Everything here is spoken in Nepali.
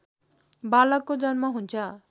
बालकको जन्म हुन्छ